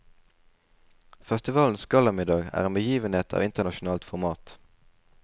Festivalens gallamiddag er en begivenhet av internasjonalt format.